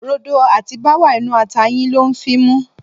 Rodo àti báwà inú ata yìí ló ń fímú.